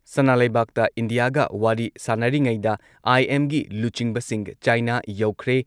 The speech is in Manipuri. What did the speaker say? ꯁꯅꯥ ꯂꯩꯕꯥꯛꯇ ꯏꯟꯗꯤꯌꯥꯒ ꯋꯥꯔꯤ ꯁꯥꯟꯅꯔꯤꯉꯩꯗ, ꯑꯥꯏ.ꯑꯦꯝꯒꯤ ꯂꯨꯆꯤꯡꯕꯁꯤꯡ ꯆꯥꯏꯅꯥ ꯌꯧꯈ꯭ꯔꯦ,